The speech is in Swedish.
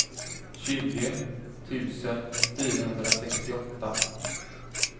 tjugo tusen fyrahundrasextioåtta